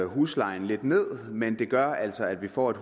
huslejen lidt ned men det gør altså at vi får et